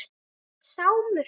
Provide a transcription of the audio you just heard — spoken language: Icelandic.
Hann hét Sámur.